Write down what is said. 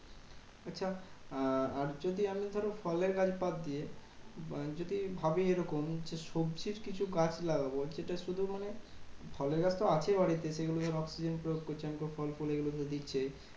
আচ্ছা আর যদি আমি ধরো ফলের গাছ বাদ দিয়ে যদি ভাবি এরকম যে, সবজির কিছু গাছ লাগাবো। সেটা শুধু মানে ফলের গাছ তো আছেই বাড়িতে সেগুলোকে oxygen প্রয়োগ করছি মানে ফল ফুল এগুলোতো দিচ্ছেই।